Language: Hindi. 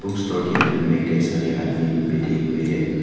स्टोर के अंदर में कई सारे आदमी लोग बैठे हुए।